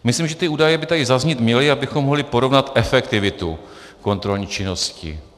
Myslím, že ty údaje by tady zaznít měly, abychom mohli porovnat efektivitu kontrolní činnosti.